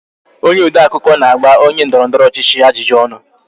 Onye odeakụkọ na-agba onye ndọrọndọrọ ọchịchị ajụjụ ọnụ